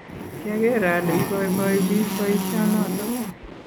kiageer ale iboiboi biik boisionoto